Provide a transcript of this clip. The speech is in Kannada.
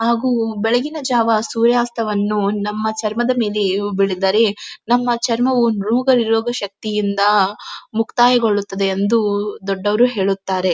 ಹಾಗೂ ಬೆಳಗಿನ ಜಾವ ಸೂರ್ಯಾಸ್ತವನ್ನು ನಮ್ಮ ಚರ್ಮದ ಮೇಲೆಯು ಬಿಳಿದರೆ ನಮ್ಮ ಚರ್ಮವು ರೋಗನಿರೋಗ ಶಕ್ತಿಯಿಂದಾ ಮುಕ್ತಾಯಗೊಳ್ಳುತ್ತದೆ ಎಂದೂ ದೊಡ್ಡವ್ರು ಹೇಳುತ್ತಾರೆ.